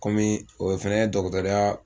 Kɔmi o ye fɛnɛ ye dɔgɔtɔrɔya